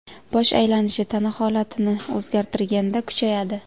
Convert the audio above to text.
Bosh aylanishi tana holatini o‘zgartirganda kuchayadi.